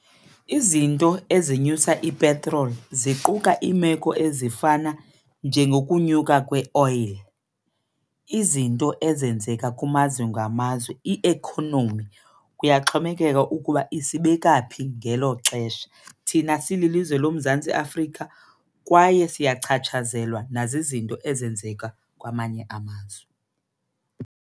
Izinto ezinyusa ipetroli ziquka iimeko ezifana njengokunyuka kweoyili, izinto ezenzeka kumazwe ngamazwe, iekhonomi kuyaxhomekeka ukuba isibekaphi ngelo xesha thina sililizwe loMzantsi Afrika, kwaye siyachaphazeleka nazizinto ezenzeka kwamanye amazwe.